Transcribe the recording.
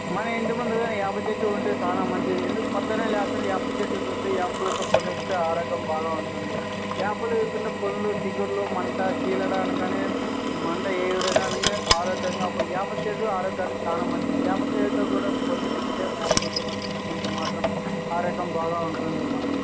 మన ఇంటి ముందు గాని వేప చెట్టు ఉంటె చానా మంచిది. ఎందుకు పొద్దున్నే లేస్తానే వేప చెట్టు చూసి వేప పుల్లతో ఆరోగ్యం బాగా ఉంటుంది. వేప లేకుండా పుల్లలు చిగుర్లు మంట సిల్లడ అనగానే మంట వేప చేదు ఆరోగ్యానికి చాలా మంచిది. వేప చేదుతో కూడా మాత్రం ఆరోగ్యం బాగా ఉంటుంది మనకు.